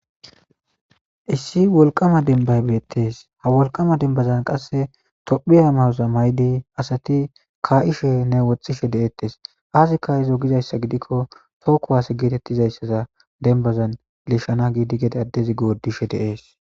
Issi wolqama denbaybeettes ha wolqama dembazan qasse tophiya mawoza maydi asati kaa'ishe nne woxxishe de'eettes aasi ka'izo gizayssa gidikko tooku waase geetettizayssaza denbazan lishana giidi geda adezi goodishe deees.